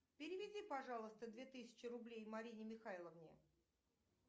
переведи пожалуйста две тысячи рублей марине михайловне